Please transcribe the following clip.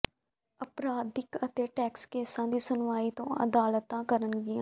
ਅਪਰਾਧਿਕ ਅਤੇ ਟੈਕਸ ਕੇਸਾਂ ਦੀ ਸੁਣਵਾਈ ਦੋ ਅਦਾਲਤਾਂ ਕਰਨਗੀਆਂ